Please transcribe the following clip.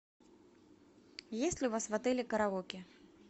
есть ли у вас в отеле караоке